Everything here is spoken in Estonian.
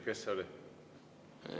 Kes see oli?